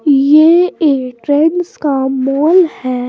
ये एक ट्रेंड्स का मॉल है।